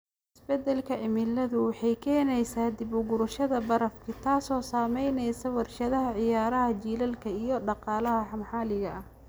Isbeddelka cimiladu waxay keenaysaa dib u gurashada barafkii, taasoo saamaynaysa warshadaha ciyaaraha jiilaalka iyo dhaqaalaha maxalliga ah.